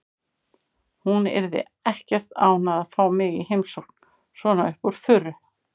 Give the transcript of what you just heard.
Hún yrði ekkert ánægð að fá mig í heimsókn svona upp úr þurru.